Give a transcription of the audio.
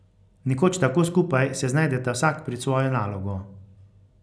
Nekoč tako skupaj se znajdeta vsak pred svojo nalogo.